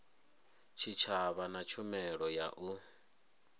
tshitshavha na tshumelo ya u